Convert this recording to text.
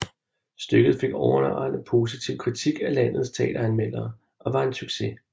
Stykket fik overvejende positiv kritik af landets teateranmeldere og var en succes